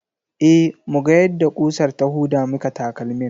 E, muga yadda ƙusar ta huda maka takalmin.